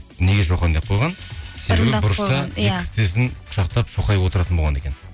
неге шоқан деп қойған себебі бұрышта бүйтіп тізесін құшақтап шоқайып отыратын болған екен